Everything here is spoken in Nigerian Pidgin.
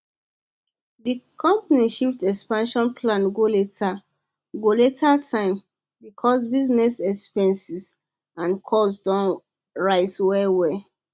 di company shift expansion plan go later go later time because business expenses and costs don rise well well